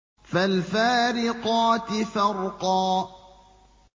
فَالْفَارِقَاتِ فَرْقًا